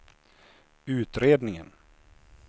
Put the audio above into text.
utredningen